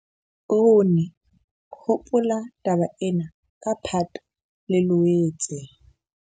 POONE - hopola taba ena ka Phato le Loetse